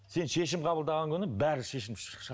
сен шешім қабылдаған күні бәрі шешім